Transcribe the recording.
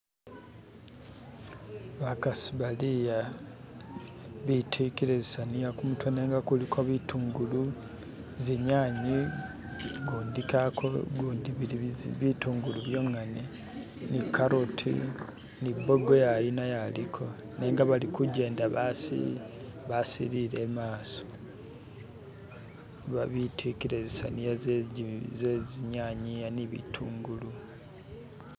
Bakasi bali a betikile zisaniya kumutwe nenga kuliko bitungulu, zinyanye ugundi bili bitungulu byongene ni carrot ni bogoya uyu nayo aliko nenga bali kujenda basilile imasa babitikile zi saniya ze zinyanya ne bitungulu.